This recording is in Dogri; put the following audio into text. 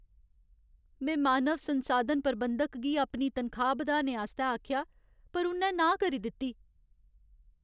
में मानव संसाधन प्रबंधक गी अपनी तनखाह् बधाने आस्तै आखेआ पर उ'न्नै नांह् करी दित्ती।